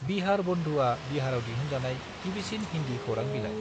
बिहारबंधुआ बिहाराव दिहुनजानाय गिबिसिन हिन्दि खौरां बिलाइ।